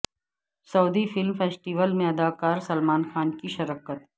سعودی film festival میں اداکار سلمان خان کی شرکت